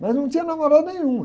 Mas não tinha namorada nenhuma.